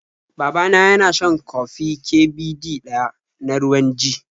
Baba na yana shan kofi Ƙ Ɓ Ɗ ɗaya na ruwan g